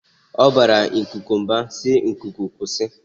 Ọ bara ikuku mba si"Ikuku kwụsị!